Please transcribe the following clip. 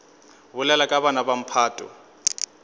bolela ka bana ba mphato